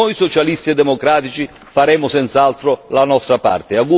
Noi socialisti e democratici faremo senz'altro la nostra parte.